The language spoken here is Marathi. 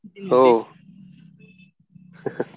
हो.